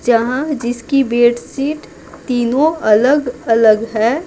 जहाँ जिसकी बेडशीट तीनों अलग-अलग है।